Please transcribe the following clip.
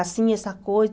Assim, essa coisa.